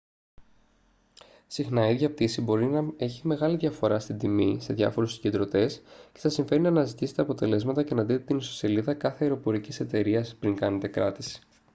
συχνά η ίδια πτήση μπορεί να έχει μεγάλη διαφορά στην τιμή σε διάφορους συγκεντρωτές και σας συμφέρει να αναζητήσετε αποτελέσματα και να δείτε την ιστοσελίδα κάθε αεροπορικής εταιρείας πριν κάνετε κράτηση